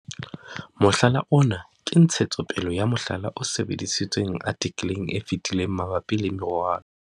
Mohlala ona ke ntshetsopele ya mohlala o sebedisitsweng artikeleng e fetileng mabapi le moralo.